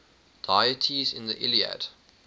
deities in the iliad